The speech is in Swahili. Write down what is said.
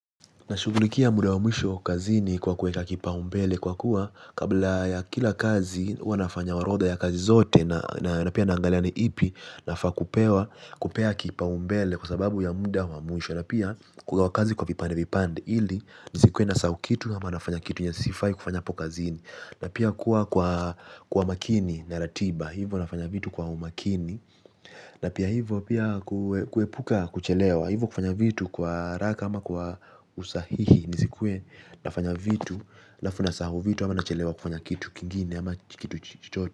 Na shugulikia muda wa mwisho kazi ni kwa kuweka kipa umbele kwa kuwa kabla ya kila kazi huwanafanya waroda ya kazi zote na napia naangaliani ipi nafakupewa kupea kipa umbele kwa sababu ya muda wa mwisho na pia kukawa kazi kwa vipande vipande ili nizikuwe na saukitu ama nafanya kitu nyesifai kufanya po kazi ni. Na pia kuwa kwa makini na ratiba. Hivo nafanya vitu kwa umakini. Na pia hivo pia kuepuka kuchelewa. Hivo kufanya vitu kwa raka ama kwa usahihi. Nisikue nafanya vitu. Lafuna sahuhu vitu ama nachelewa kufanya kitu kingine ama kitu chochote.